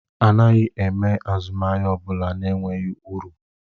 Anaghị m eme azụmahịa ọ bụla na-enweghị uru